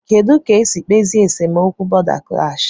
Kedụ ka a ga-esi kpezie esemokwu bọ̀da klash?